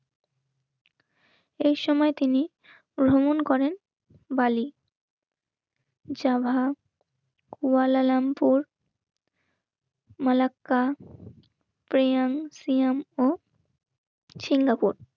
এই সময় তিনি ভ্রমণ করেন. বালি. জবাবপুর. মালাক্কা প্রিয়াংশু ও সিঙ্গাপুর